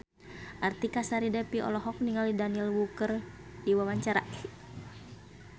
Artika Sari Devi olohok ningali Daniel Wu keur diwawancara